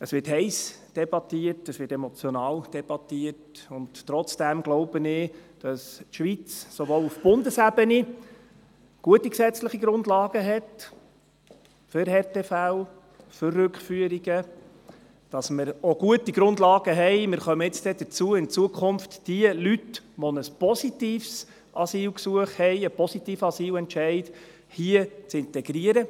Es wird heiss debattiert, es wird emotional debattiert, und trotzdem glaube ich, dass die Schweiz auch auf Bundesebene gute gesetzliche Grundlagen hat, für Härtefälle, für Rückführungen, dass wir auch gute Grundlagen haben – wir kommen bald dazu –, um in Zukunft jene Leute, die einen positiven Asylentscheid haben, hier in unserer Gesellschaft zu integrieren.